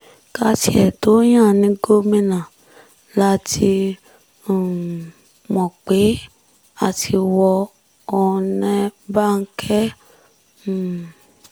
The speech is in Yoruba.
ká tiẹ̀ tóó yan án ní gómìnà la ti um mọ̀ pé a ti wọ ọ̀nẹ́ báńkẹ́ um